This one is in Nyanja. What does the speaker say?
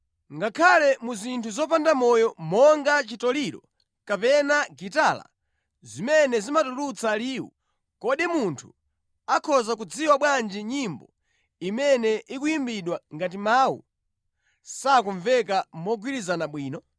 Ngakhale mu zinthu zopanda moyo monga chitoliro kapena gitala, zimene zimatulutsa liwu; kodi munthu akhoza kudziwa bwanji nyimbo imene ikuyimbidwa ngati mawu sakumveka mogwirizana bwino?